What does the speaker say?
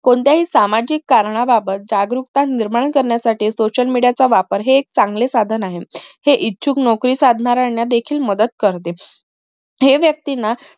कोणत्याही सामाजिक कारणाबाबत जागरूकता निर्माण करण्यासाठी social media चा वापर हे एक चांगलं साधन आहे हे इच्छुक नोकरी साधणाऱ्याना देखील मदत करते हेव्यक्तींना